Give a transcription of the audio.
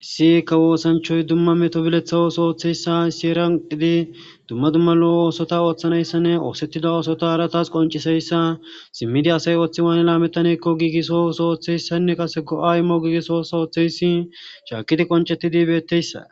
Issikka woosanchoy dumma meto bileththawoos ooththeyssa siyeranqidi dumma dumma lo7o oosota ooththanayssanne oosettida oosota aratas qonciseyssa simmidi asay ooththi waan laamettanekko giigiso sooththeyssanne kase go7aymo giigiso sootheyssi shaakidi qoncetidi betteyssa.